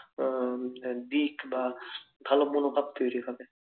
আহ দিক বা ভালো মনোভাব তৈরি হবে